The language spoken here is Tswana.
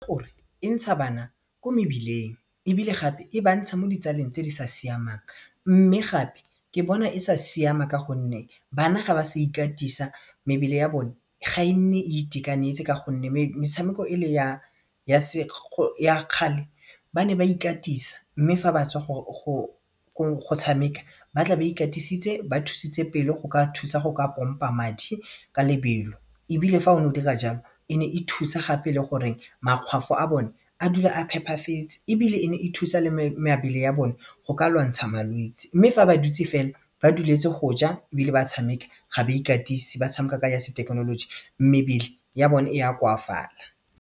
E ntsha bana ko mebileng ebile gape e ba ntsha mo ditsaleng tse di sa siamang mme gape ke bona e sa siama ka gonne bana ga ba sa ikatisa mebele ya bone ga e nne e itekanetse ka gonne metshameko e le ya kgale ba ne ba ikatisa mme fa batswa go tshameka batla ba ikatisitse ba thusitse pelo go ka thusa go ka pompa madi ka lebelo ebile fa o ne o dira jalo e ne e thusa gape le gore makgwafo a bone a dula a phepafetse ebile e ne e thusa le mebele ya bone go ka lwantsha malwetsi mme fa ba dutse fela ba duleletse go ja ebile ba tshameka ga ba ikatise ba tshameka ka ya sethekenoloji mebile ya bone e ya koafala.